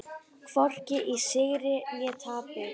Hvorki í sigri né tapi.